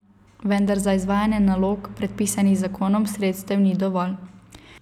Vendar za izvajanje nalog, predpisanih z zakonom, sredstev ni dovolj.